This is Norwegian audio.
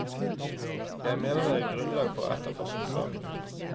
Jeg mener det er grunnlag for å etterforske saken.